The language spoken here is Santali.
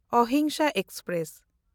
ᱚᱦᱤᱝᱥᱟ ᱮᱠᱥᱯᱨᱮᱥ